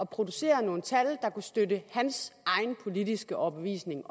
producere nogle tal der kunne støtte op hans egen politiske overbevisning